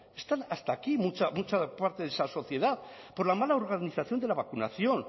está hasta aquí mucha parte de esa sociedad por la mala organización de la vacunación